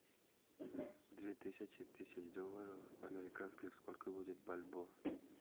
две тысячи тысяч долларов американских сколько будет бальбоа